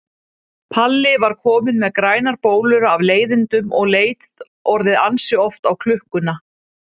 Palli var kominn með grænar bólur af leiðindum og leit orðið ansi oft á klukkuna.